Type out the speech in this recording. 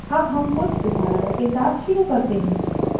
अब हम कुछ उदाहरणों के साथ शुरू करते हैं